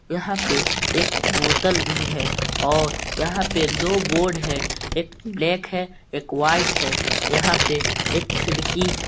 यहां पे एक बोतल भी है और यहां पे दो बोर्ड है एक ब्लैक है एक वाइट है यहां पे एक खिड़की है।